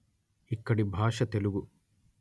ఇక్కడి భాష తెలుగు